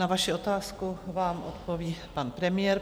Na vaši otázku vám odpoví pan premiér.